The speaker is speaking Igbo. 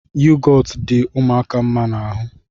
Yogọtu dị ụmụaka mma n'ahụ